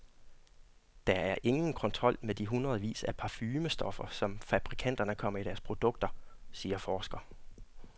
Der er ingen kontrol med de hundredvis af parfumestoffer, som fabrikanterne kommer i deres produkter, siger forsker.